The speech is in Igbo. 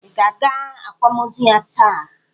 Ị ga-aga akwamozu ya taa!